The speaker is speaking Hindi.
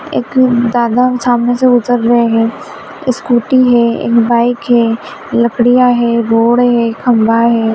एक दादा सामने से गुजर रहे हैं स्कूटी है एक बाइक हैलकड़ियां है रोड़े है खंभा है।